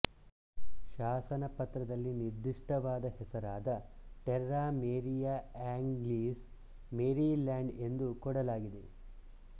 ಶಾಸನ ಪತ್ರದಲ್ಲಿ ನಿರ್ದಿಷ್ಟವಾದ ಹೆಸರಾದ ಟೆರ್ರಾ ಮೇರಿಯಾ ಆಂಗ್ಲೀಸ್ ಮೇರಿಲ್ಯಾಂಡ್ ಎಂದು ಕೊಡಲಾಗಿದೆ